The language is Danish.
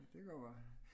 Det kan godt være